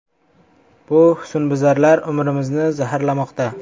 Bu husnbuzarlar umrimni zaharlamoqda.